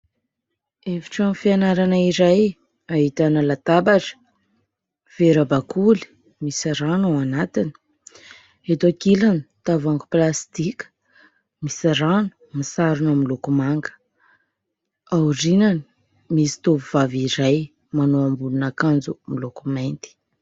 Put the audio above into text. Efitrano fianarana iray ahitana latabatra, vera bakoly misy rano ao anatiny, eto ankilany tavoahangy plastika misy rano, misarona miloko manga, aorinany misy tovovavy iray manao ambonin'akanjo miloko mainty.